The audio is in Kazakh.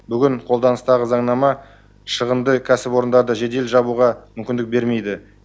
бүгін қолданыстағы заңнама шығынды кәсіпорындарды жедел жабуға мүмкіндік бермейді